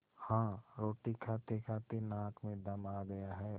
हाँ रोटी खातेखाते नाक में दम आ गया है